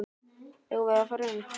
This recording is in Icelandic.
Eigum við að fara inn?